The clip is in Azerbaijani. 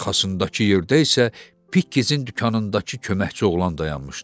arxasındakı yerdə isə Pikkezin dükanındakı köməkçi oğlan dayanmışdı.